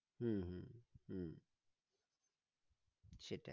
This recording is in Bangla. হম হম হম সেটাই